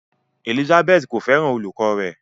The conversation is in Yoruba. Elizabeth ko fẹràn olùkọ rẹ.